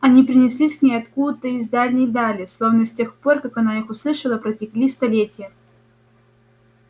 они принеслись к ней откуда-то из дальней дали словно с тех пор как она их услышала протекли столетья